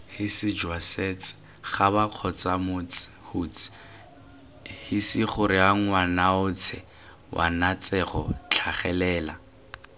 hisijwasets habakgotsamots huts hisigoreangwanaotshwanetsego tlhagelela